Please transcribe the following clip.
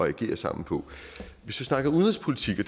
at agere sammen på hvis vi snakker udenrigspolitik og